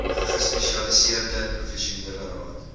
gespesialiseerde professionele raad